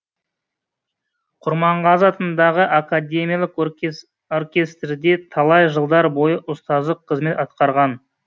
құрманғазы атындағы академиялық оркестрде талай жылдар бойы ұстаздық қызмет атқарған